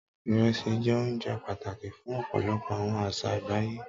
irẹsi jé ounjẹ pàtàkì fún òpolopò àwọn àṣà àgbáyé